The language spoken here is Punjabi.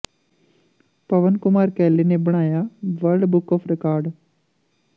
ਪਵਨ ਕੁਮਾਰ ਕੈਲੇ ਨੇ ਬਣਾਇਆ ਵਰਲਡ ਬੁੱਕ ਆਫ ਰਿਕਾਰਡ